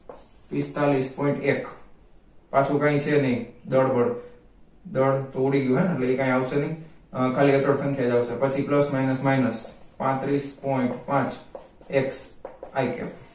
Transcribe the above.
પિસ્તાલીસ point એક પાછું કાઈ છે નઈ દળ બળ દળ તો ઉડી ગ્યું હેને એટલે એ કઈ આવશે નઈ ખાલી approx જ સંખ્યા આવશે પછી plus minus minus પાંત્રિસ point પાંચ x i cap